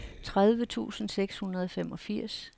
tredive tusind seks hundrede og femogfirs